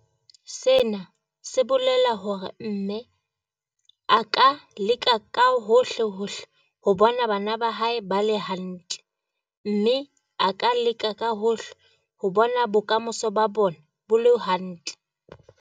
Sena se bolela hore mme a ka leka ka hohle hohle ho bona bana ba hae ba le hantle, mme a ka leka ka hohle ho bona bokamoso ba bona bo le hantle.